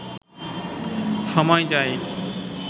সময় যায়